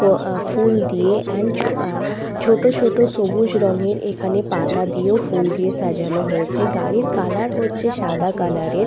ফ আ ফুল দিয়ে এন্ড আ ছোট ছোট সবুজ রঙের এখানে পাতা দিয়েও ফুল দিয়ে সাজানো হয়েছে। গাড়ির কালার হচ্ছে সাদা কালারের ।